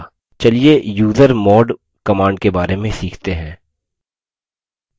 चलिए usermod command के बारे में सीखते हैं